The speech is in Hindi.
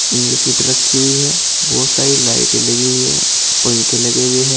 सीट रखी हुई है बहुत सारी लाइटें लगी हुई हैं पंखे लगे हुए हैं।